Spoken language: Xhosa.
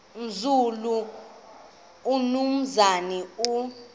nzulu umnumzana u